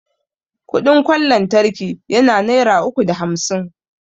Kudin kwan lantraki yana naira uku da hamsin